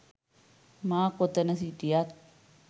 මා කොතන හිටියත්